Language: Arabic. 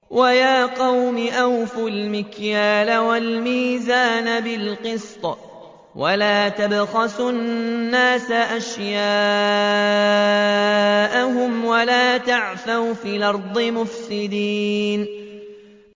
وَيَا قَوْمِ أَوْفُوا الْمِكْيَالَ وَالْمِيزَانَ بِالْقِسْطِ ۖ وَلَا تَبْخَسُوا النَّاسَ أَشْيَاءَهُمْ وَلَا تَعْثَوْا فِي الْأَرْضِ مُفْسِدِينَ